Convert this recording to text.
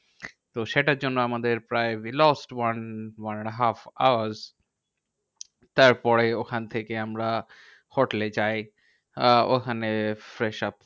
তো সেটার জন্য আমাদের প্রায় we lost one one and a half hours. তারপরে ওখান থেকে আমরা হোটেলে যাই। আহ ওখানে fresh up